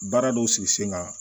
Baara dɔw sigi sen kan